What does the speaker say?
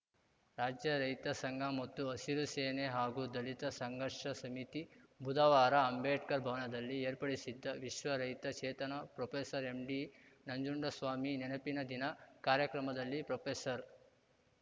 ರಾಜ್ಯ ರೈತ ಸಂಘ ಮತ್ತು ಹಸಿರು ಸೇನೆ ಹಾಗೂ ದಲಿತ ಸಂಘರ್ಷ ಸಮಿತಿ ಬುಧವಾರ ಅಂಬೇಡ್ಕರ್‌ ಭವನದಲ್ಲಿ ಏರ್ಪಡಿಸಿದ್ದ ವಿಶ್ವ ರೈತ ಚೇತನ ಪ್ರೊಪೆಸರ್ ಎಂಡಿ ನಂಜುಂಡಸ್ವಾಮಿ ನೆನಪಿನ ದಿನ ಕಾರ್ಯಕ್ರಮದಲ್ಲಿ ಪ್ರೊಪೆಸರ್